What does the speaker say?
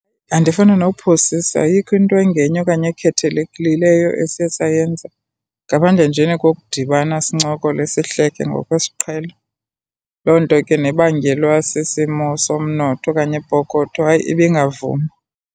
Andifuni nophosisa, ayikho into engenye okanye ekhethelekileyo esiye sayenza. Ngaphandle njena kokudibana, sincokole, sihleke ngokwesiqhelo. Loo nto ke nebangelwa sisimo somnotho okanye ipokotho, hayi, ibingavumi.